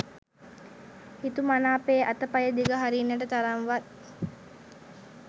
හිතුමනාපේ අතපය දිග හරින්නට තරම් වත්